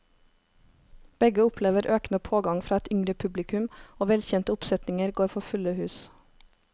Begge opplever økende pågang fra et yngre publikum, og velkjente oppsetninger går for fulle hus.